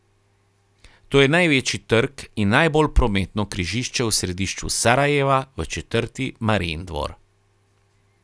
To je največji trg in najbolj prometno križišče v središču Sarajeva v četrti Marijin dvor.